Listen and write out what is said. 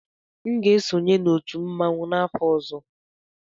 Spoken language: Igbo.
M ga-esonye na otu mmanwụ n'afọ ọzọ.